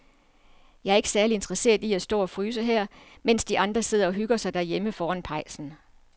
Jeg er ikke særlig interesseret i at stå og fryse her, mens de andre sidder og hygger sig derhjemme foran pejsen.